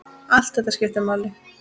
Allt þetta skiptir máli.